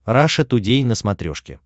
раша тудей на смотрешке